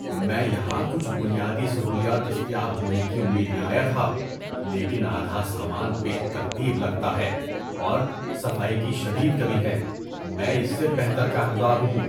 میں یہاں کچھ بنیادی سہولیات دستیاب ہونے کی امید میں آیا تھا، لیکن آدھا سامان بے ترتیب لگتا ہے، اور صفائی کی شدید کمی ہے۔ میں اس سے بہتر کا حقدار ہوں۔